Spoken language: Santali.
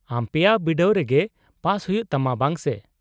-ᱟᱢ ᱯᱮᱭᱟ ᱵᱤᱰᱟᱹᱣ ᱨᱮᱜᱮ ᱯᱟᱥ ᱦᱩᱭᱩᱜ ᱛᱟᱢᱟ , ᱵᱟᱝ ᱥᱮ ?